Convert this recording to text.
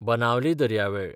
बनावली दर्यावेळ